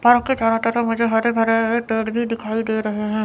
Park के चारों तरफ मुझे हरे भरे पेड़ भी दिखाई दे रहे हैं।